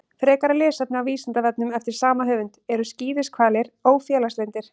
Frekara lesefni á Vísindavefnum eftir sama höfund: Eru skíðishvalir ófélagslyndir?